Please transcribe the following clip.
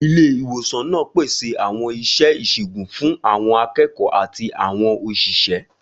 Ilé ìwòsàn náà pèsè àwọn iṣẹ́ ìṣègùn fún àwọn akẹ́kọ̀ọ́ àti àwọn òṣìṣẹ́.